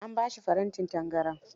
An ba shi farantin tangaran.